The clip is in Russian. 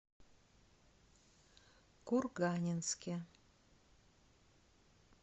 курганинске